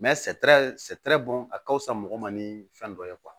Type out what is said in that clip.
bon a ka fisa mɔgɔ ma ni fɛn dɔ ye